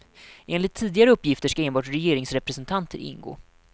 Enligt tidigare uppgifter ska enbart regeringsrepresentanter ingå.